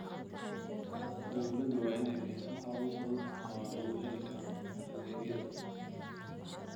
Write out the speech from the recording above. Dawladdu waa inay bixiso habab fudud oo lagu heli karo adeegyada.